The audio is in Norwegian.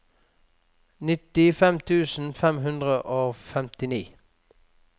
nittifem tusen fem hundre og femtini